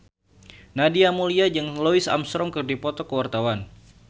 Nadia Mulya jeung Louis Armstrong keur dipoto ku wartawan